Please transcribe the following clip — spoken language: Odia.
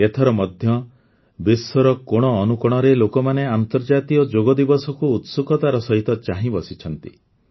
ଏଥର ମଧ୍ୟ ବିଶ୍ୱର କୋଣ ଅନୁକୋଣରେ ଲୋକମାନେ ଆନ୍ତର୍ଜାତୀୟ ଯୋଗ ଦିବସକୁ ଉତ୍ସୁକତାର ସହିତ ଚାହିଁବସିଛନ୍ତି